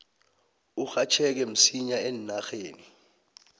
urhatjheke msinya eenarheni